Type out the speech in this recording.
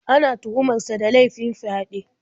Ana tuhumar sa da laifin fyaɗe.